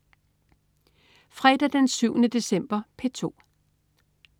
Fredag den 7. december - P2: